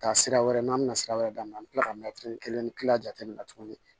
Taa sira wɛrɛ n'an bɛna sira wɛrɛ d'an ma an bɛ tila ka kelen jateminɛ tuguni